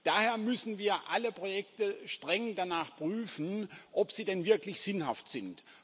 Daher müssen wir alle Projekte streng danach prüfen, ob sie denn wirklich sinnhaft sind.